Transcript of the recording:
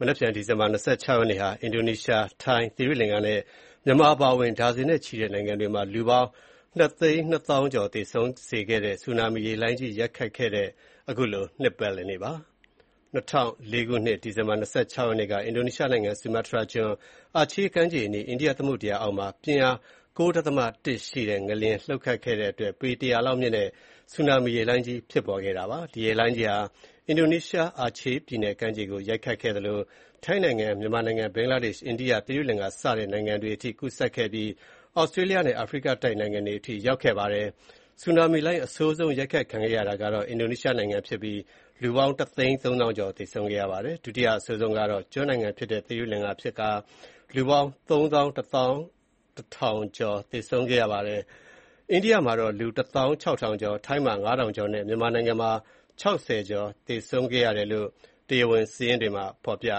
မနက်ဖြန်ဒီဇင်ဘာလ ၂၆ ရက်နေ့ဟာ အင်ဒိုနီးရှား၊ ထိုင်း၊ သီရိလင်္ကာနဲ့ မြန်မာအပါအဝင် ဒါဇင်နဲ့ချီတဲ့ နိုင်ငံတွေမှာ လူပေါင်း ၂၂၀,၀၀၀ (နှစ်သိန်းနှစ်သောင်း) ကျော်သေဆုံးစေခဲ့တဲ့ ဆူနာမီရေလှိုင်းကြီး ရိုက်ခတ်ခဲ့တဲ့ အနှစ် ၂၀ ပြည့် နှစ်ပတ်လည်နေ့ဖြစ်ပါတယ်။ ၂၀၀၄ ခုနှစ်၊ ဒီဇင်ဘာလ ၂၆ ရက်နေ့က အင်ဒိုနီးရှားနိုင်ငံ ဆူမာတြားကျွန်း၊ အာချေးကမ်းခြေအနီး အိန္ဒိယသမုဒ္ဒရာအောက်မှာ ပြင်းအား ၉ ဒသမ ၁ ရှိတဲ့ ငလျင်လှုပ်ခဲ့တဲ့အတွက် ပေ ၁၀၀ လောက်မြင့်တဲ့ ဆူနာမီရေလှိုင်းကြီး ဖြစ်ပေါ် ခဲ့ပါတယ်။ ဒီရေလှိုင်းကြီးဟာ အင်ဒိုနီးရှား အာချေးပြည်နယ်ကမ်းခြေကို ရိုက်ခတ်ခဲ့သလို ထိုင်းနိုင်ငံ၊ မြန်မာနိုင်ငံ၊ ဘင်္ဂလားဒေ့ရှ်၊ အိန္ဒိယ၊ သီရိလင်္ကာစတဲ့နိုင်ငံတွေအထိ ကူးစက်ခဲ့ပြီး ဒီ ဆူနာမီလှိုင်းဟာ သြစတြေးလျားနဲ့ အာဖရိကတိုက်နိုင်ငံတွေ အထိရောက်ရှိခဲ့ပါတယ်။ ဆူနာမီလှိုင်း အဆိုးဆုံးရိုက်ခတ်ခံခဲ့ရတာကတော့ အင်ဒိုနီးရှားဖြစ်ပြီး လူပေါင်း ၁၃၀,၀၀၀ (တသိန်းသုံးသောင်း) ကျော် သေဆုံးခဲ့ပါတယ်။ ဒုတိယအဆိုးဆုံးခံခဲ့ရတာကတော့ သီရိလင်္ကာကျွန်း နိုင်ငံဖြစ်ပြီး လူပေါင်း ၃၁,၀၀၀ (သုံးသောင်းတထောင်) ကျော် သေဆုံးခဲ့ပါတယ်။ အိန္ဒိယမှာ လူ ၁၆,၀၀၀ (တသောင်းခြောက်ထောင်ကျော်)၊ ထိုင်းမှာ ၅,၀၀၀ ကျော်နဲ့ မြန်မာနိုင်ငံမှာ ၆၀ ကျော် သေဆုံးတယ်လို့ တရား ဝင်စာရင်းတွေမှာဖေါ်ပြ